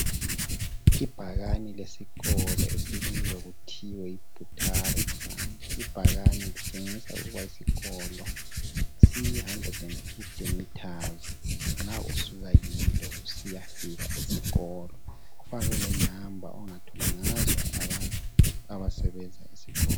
Ibhakani lesikolo esibizwa kuthiwe Butare Branch. Ibhakani litshengisa ukuba isikolo siyi 150m nxa usuka kilo usiyafika eskolo. Kufakwe lenamba ongathola ngazo abantu abasebenza esikolo